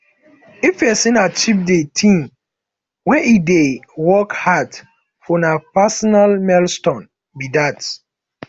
if pesin achieve de thing wey e dey work hard for na personal milestone be that